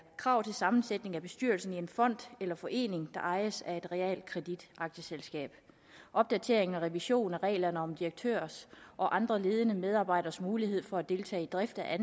krav til sammensætningen af bestyrelsen i en fond eller forening der ejer et realkreditaktieselskab opdatering og revision af reglerne om direktørers og andre ledende medarbejderes mulighed for at deltage i drift af